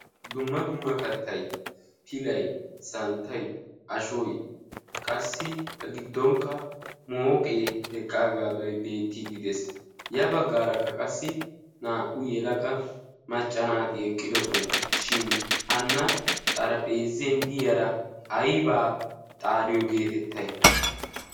Dumma dumma kattay: pilay, santtay, ashoy, qassi A giddonkka mooqee eqqaagaadoy beettiidde de'ees. Ya baggaarakka qassi naa"u yelaga macca naati eqqidosona. Shin hanna xarphpheezen diyara aybaa xaariyo geetettay?